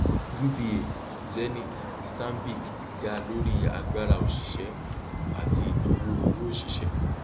uba zenith stanbic ga lórí agbára òṣìṣẹ um àti ìnáwó owó òṣìṣẹ